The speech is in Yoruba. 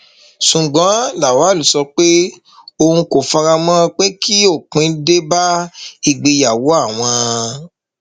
ṣùgbọn lawal sọ pé òun kò fara mọ pé kí òpin dé bá ìgbéyàwó àwọn